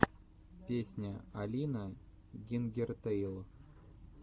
песня алина гингертэйл